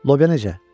Lobya necə?